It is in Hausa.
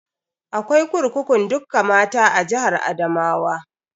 Akwai kurkukun dukka mata a jihar Adamawa.